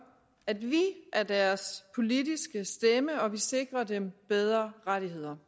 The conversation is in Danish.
at vi er deres politiske stemme og at vi sikrer dem bedre rettigheder